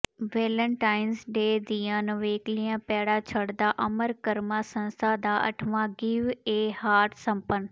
Valentine's Day ਦੀਆਂ ਨਿਵੇਕਲੀਆਂ ਪੈੜਾਂ ਛੱਡਦਾ ਅਮਰ ਕਰਮਾ ਸੰਸਥਾ ਦਾ ਅੱਠਵਾਂ ਗਿਵ ਏ ਹਾਰਟ ਸੰਪੰਨ